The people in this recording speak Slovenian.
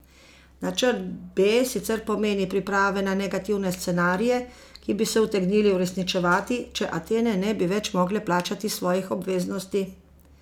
Načrt B sicer pomeni priprave na negativne scenarije, ki bi se utegnili uresničevati, če Atene ne bi več mogle plačati svojih obveznosti.